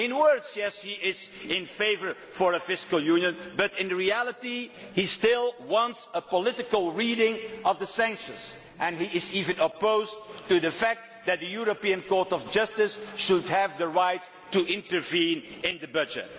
In other words, yes, he is in favour of a fiscal union but in reality he still wants a political reading of the sanctions mechanism, and he is even opposed to the fact that the European Court of Justice should have the right to intervene in the budget.